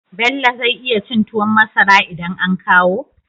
Bello zai iya cin tuwon masara idan an kawo?